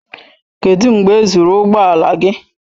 Kedụ mgbe e zụrụ ụgbọ ala gị?